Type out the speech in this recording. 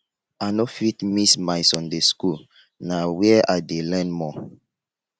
i no fit miss my sunday school na where i dey learn more